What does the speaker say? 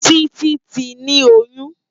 Titi ti ni óyùn